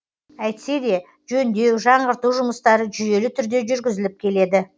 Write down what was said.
әйтсе де жөндеу жаңғырту жұмыстары жүйелі түрде жүргізіліп келеді